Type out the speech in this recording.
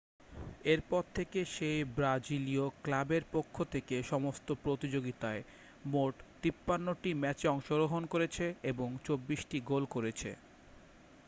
এরপর থেকে সেই ব্রাজিলীয় ক্লাবের পক্ষ থেকে সমস্ত প্রতিযোগিতায় মোট 53টি ম্যাচে অংশগ্রহণ করেছে এবং 24টি গোল করেছে